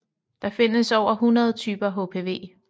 Der findes over 100 typer HPV